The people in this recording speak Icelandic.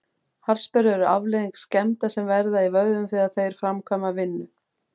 Harðsperrur eru afleiðing skemmda sem verða í vöðvum þegar þeir framkvæma vinnu.